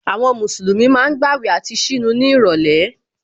Àwọn Mùsùlùmí ma ń gbàwẹ̀ àti ṣínu ní ìrọ̀lẹ́